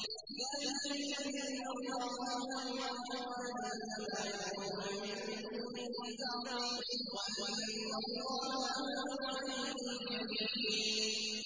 ذَٰلِكَ بِأَنَّ اللَّهَ هُوَ الْحَقُّ وَأَنَّ مَا يَدْعُونَ مِن دُونِهِ الْبَاطِلُ وَأَنَّ اللَّهَ هُوَ الْعَلِيُّ الْكَبِيرُ